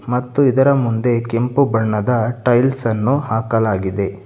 ಮತ್ತು ಇದರ ಮುಂದೆ ಕೆಂಪು ಬಣ್ಣದ ಟೈಲ್ಸ್ ಅನ್ನು ಹಾಕಲಾಗಿದೆ.